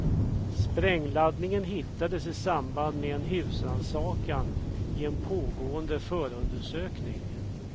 Sprängladdningen hittades i samband med en husrannsakan i en pågående förundersökning.